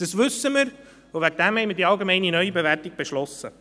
Dies wissen wir und deshalb haben wir die allgemeine Neubewertung beschlossen.